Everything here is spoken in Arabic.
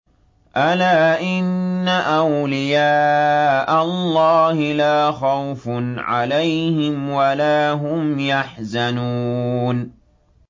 أَلَا إِنَّ أَوْلِيَاءَ اللَّهِ لَا خَوْفٌ عَلَيْهِمْ وَلَا هُمْ يَحْزَنُونَ